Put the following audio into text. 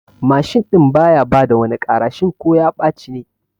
Mashin ɗin baya bada wani ƙara shin ko ya ɓaci ne?